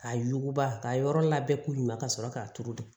K'a yuguba k'a yɔrɔ labɛn k'u ɲuman ka sɔrɔ k'a turu